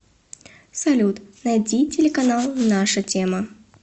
салют найди телеканал наша тема